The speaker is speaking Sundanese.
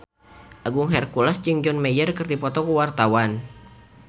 Agung Hercules jeung John Mayer keur dipoto ku wartawan